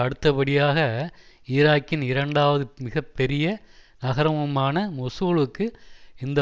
அடுத்தபடியாக ஈராக்கின் இரண்டாவது மிக பெரிய நகரமுமான மொசூலுக்கு இந்த